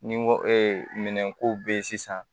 Ni n ko minɛnko bɛ ye sisan